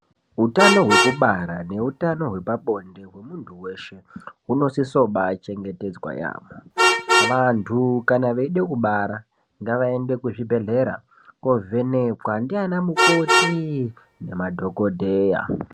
Utano hwekubara neutano hwepabonde hwemuntu weshe hunosise kubaachengetedzwa yaambo. Vantu kana veida kubara ngavaende kuzvibhedhlera koovhenekwa ndiana mukoti nemadhagodheya.